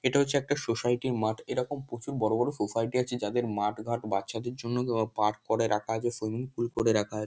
এটা হচ্ছে একটা সোসাইটি -র মাঠ। এরকম প্রচুর বড় বড় সোসাইটি আছে যাদের মাঠঘাট বাচ্চাদের জন্য পার্ক করে রাখা আছে। সুইমিং পুল করে রাখা আছে।